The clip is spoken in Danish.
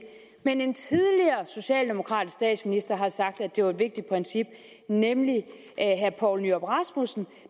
men en tidligere socialdemokratisk statsminister har sagt at det var et vigtigt princip nemlig herre poul nyrup rasmussen